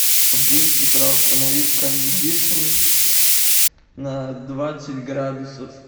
в девять утра установи кондишн на двадцать градусов